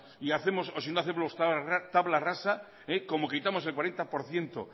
hacemos tabla rasa como quitamos el cuarenta por ciento